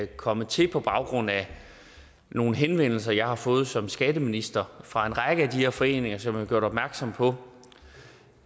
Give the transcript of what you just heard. kommet til på baggrund af nogle henvendelser jeg har fået som skatteminister fra en række af de her foreninger som har gjort opmærksom på